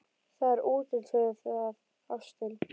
Það er útlit fyrir það, ástin.